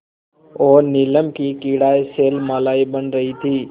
और नीलम की क्रीड़ा शैलमालाएँ बन रही थीं